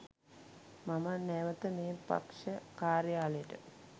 මම නැවත මේ පක්ෂ කාර්යාලයට